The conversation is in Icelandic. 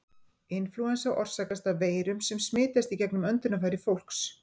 Inflúensa orsakast af veirum sem smitast í gegnum öndunarfæri fólks.